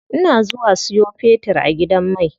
Ina zuwa siyo fetir a gidan mai.